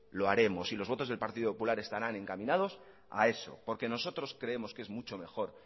lo haremos y los votos del partido popular estarán encaminados a eso porque nosotros creemos que es mucho mejor